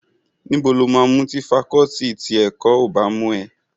Níbo lo máa mú tí fakọọti ti ẹ̀kọ́ ò bá mú ẹ?